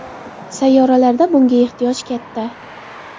Sayyohlarda bunga ehtiyoj katta.